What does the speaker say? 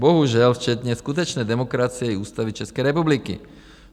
Bohužel včetně skutečné demokracie i Ústavy České republiky.